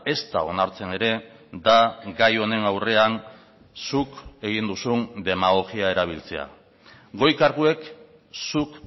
ezta onartzen ere da gai honen aurrean zuk egin duzun demagogia erabiltzea goi karguek zuk